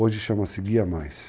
Hoje chama-se Guia Mais.